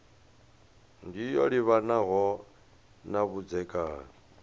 ndi yo livhanaho na vhudzekani